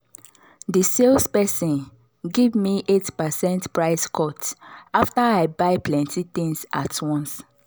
the sales person give me eight percent price cut after i buy plenty things at once.